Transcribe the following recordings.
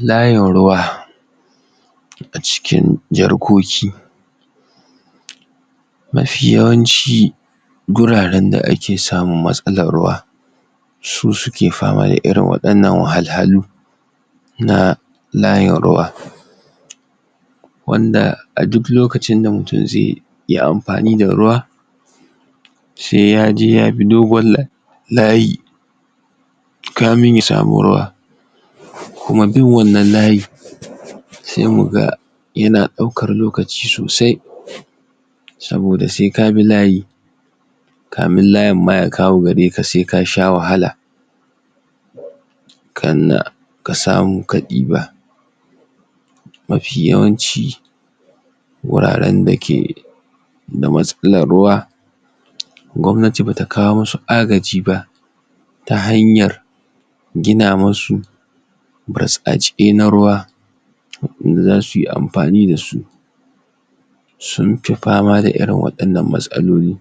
Layin ruwa. a cikin jarkoki mafi yawanci guraren da ake samun matsalar ruwa su suke fama da irin waɗannan wahalhalu na layin ruwa. wanda a duk lokacin da mutum zai yi amfani da ruwa, sai ya je ya bi dogon layi kamin ya samu ruwa. kuma duk wannan layi, sai mu ga yana ɗaukar lokaci sosai. saboda sai ka bi layi, kamin layin ma ya kawo gare ka sai ka sha wahala. kannan ka samu ka ɗiba. mafi yawanci wuraren da ke da matsalar ruwa, gwamnati ba ta kawo masu agaji ba, ta hanyar gina masu burtsatse na ruwa wanda za su yi amfani da su. Sun fi fama da irin waɗannan matsaloli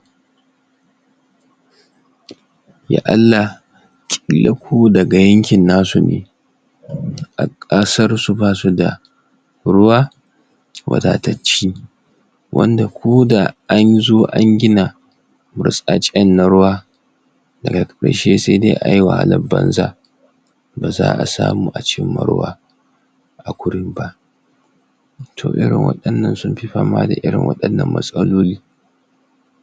ya Allah ƙila ko daga yankin nasu ne, a ƙasarsu ba su da ruwa, wadatacce wanda ko da an zo an gina burtsatsen na ruwa daga ƙarshe sai dai ayi wahalar banza. ba za a samu a cimma ruwa a gurin ba. to irin waɗannan sun fi fama da irin waɗannan matsaloli.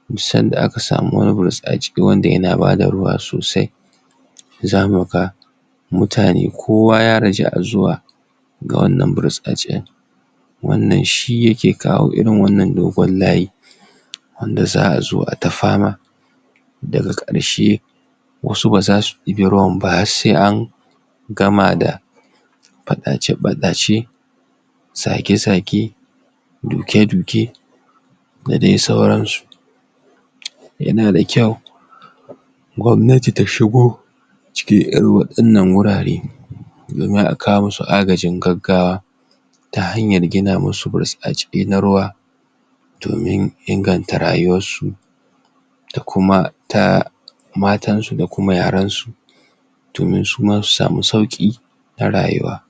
Duk san da aka samu wani burtsatse da ke ba da ruwa sosai, za mu ga mutane kowa ya raja'a zuwa ga wannan burtsatsen. wannan shi ya ke kawo irin wann dogon layin. wanda za a zo a yi ta fama, daga ƙarshe wasu ba za su ɗibi ruwan ba har sai an gama da faɗace-faɗace zage-zage duke-duke da dai sauransu. Yana da kyau gwamnati ta shigo cikin irin waɗannan wurare domin a kawo musu agajin gaggawa ta hanyar gina masu burtsatse na ruwa domin inganta rayuwarsu. da kuma ta matansu da ta yaransu. domin su ma su samu sauƙi a rayuwa.